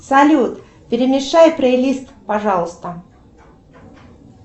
салют перемешай плейлист пожалуйста